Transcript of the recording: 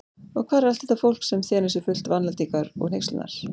Og hvar er allt þetta fólk, sem þenur sig fullt vandlætingar og hneykslunar?